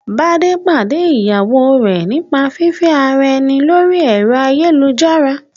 Bádé pàdé ìyàwó rẹ̀ nípa fífẹ́ ara ẹni lórí ẹ̀rọ ayélujára